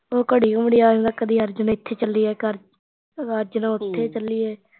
ਉਹ ਘੜੀ ਮੁੜੀ ਕਦੀ ਅਰਜਨ ਇੱਥੇ ਚੱਲੀਏ ਕਰ ਅਰਜਨ ਉੱਥੇ ਚੱਲੀਏ